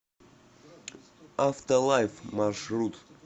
автолайф маршрут